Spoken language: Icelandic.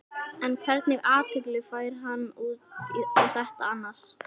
En hvernig athygli fær hann út á þetta annars?